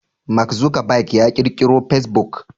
Mark Zuckerberg ya ƙirkiro fasebuk